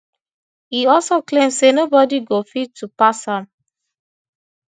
e also claim say nobodi go fit to pass am